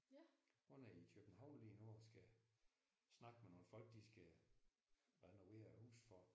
Hun er København lige nu og skal snakke med nogle folk de skal renovere et hus for